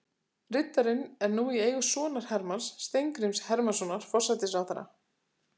Riddarinn er nú í eigu sonar Hermanns, Steingríms Hermannssonar forsætisráðherra.